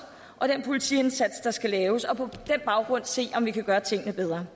og den politiindsats der skal laves og på den baggrund se om vi kan gøre tingene bedre